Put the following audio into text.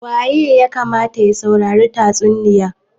Wa ya kamata ya saurari tatsuniya?